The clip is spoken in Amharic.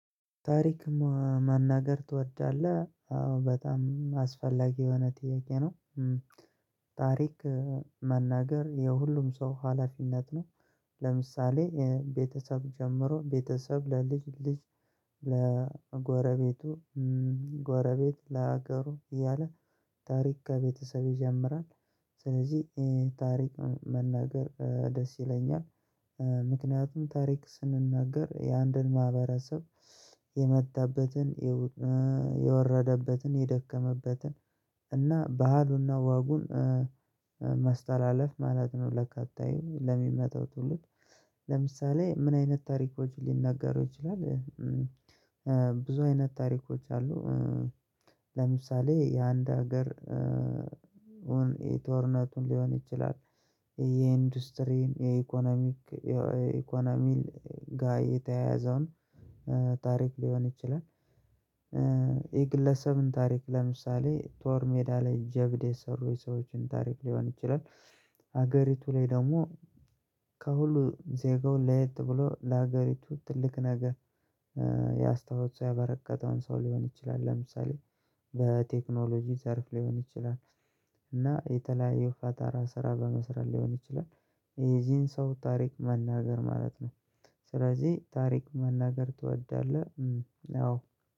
ታሪክ ማናገር ትወዳለህ አዎ በጣም አስፈላጊ የሆነ ጥያቄ ነው። ታሪክ መናገር የሁሉም ሰው ሀላፊነት ነው። ለምሳሌ ቤተሰብ ጀምሮ ቤተሰብ ለልጅ ልጅ። ለጎረቤቱ ጎረቤት ለሀገሩ እያለ ታሪክ ከቤተሰብ ይጀምራል። ስለዚህ ታሪክን መናገር ደስ ይለኛል። ምክንያቱም ታሪክ ስንናገር የአንድን ማህበረሰብ የመጣበትን የወረደበትን የደከመበትን እና ባህሉና ወጉን ማስተላለፍ ማለት ነው ለቀጣዩ ለሚመታው ትውልድ። ለምሳሌ ምን አይነት ታሪኮች ሊነገሩ ይችላሉ? ብዙ አይነት ታሪኮች አሉ። ለምሳሌ የአንድ ሀገር ጦርነቱን ሊሆን ይችላል። የኢንዱስትሪን የኢኮኖሚ የኢኮኖሚን ጋር የተያያዘውን ታሪክ ሊሆን ይችላል። የግለሰብን ታሪክ ለምሳሌ ጦር ሜዳ ላይ ጀብድ የሰሩ ሰዎችን ታሪክ ሊሆን ይችላል። ሀገሪቱ ላይ ደግሞ ከሁሉ ዜጋውን ለየት ብሎ ለሀገሪቱ ትልቅ ነገር ያስታወሱ ያበረከተውን ሰው ሊሆን ይችላል። ለምሳሌ በቴክኖሎጂ ዘርፍ ሊሆን ይችላል። እና የተለያዩ የፈጠራ ስራ በመስራት ሊሆን ይችላል። የዚህን ሰው ታሪክ መናገር ማለት ነው። ስለዚህ ታሪክ መናገር ትወዳለህ አዎ